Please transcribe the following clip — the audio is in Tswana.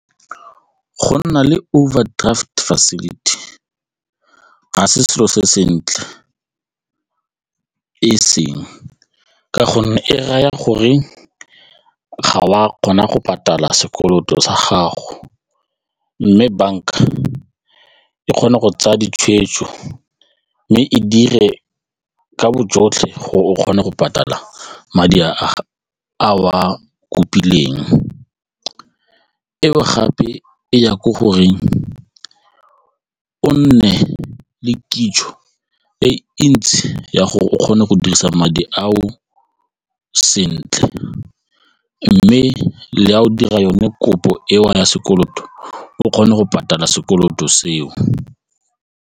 Go nna le overdraft facility ga se selo se sentle e seng ka gonne e raya gore ga o a kgona go patala sekoloto sa gago mme banka e kgone go tsaya ditshweetso mme e dire ka bojotlhe gore o kgone go patala madi a o a kopileng eo gape e ya ko goreng o nne le kitso e ntsi ya gore o kgone go dirisa madi ao sentle mme le a o dira yone kopo eo ya sekoloto o kgone go patala sekoloto seo.